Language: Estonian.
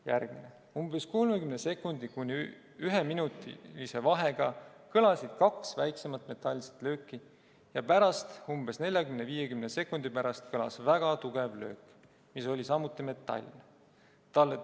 " Järgmine: "Umbes 30 sekundi kuni üheminutilise vahega kõlasid kaks väiksemat metalset lööki ja pärast, umbes 40–50 sekundi pärast kõlas väga tugev löök, mis oli samuti metalne.